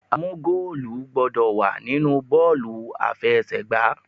A mú goolu gbọ́dọ̀ wà nínú bọ́ọ̀lù aláfẹsẹ̀gbá.